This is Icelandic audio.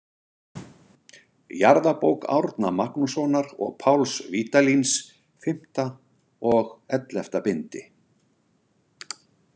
Jarðabók Árna Magnússonar og Páls Vídalíns, V og XI bindi.